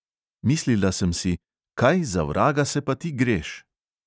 Mislila sem si: "kaj za vraga se pa ti greš?"